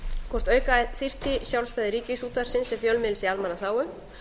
hvort auka þyrfti sjálfstæði ríkisútvarpsins sem fjölmiðils í almannaþágu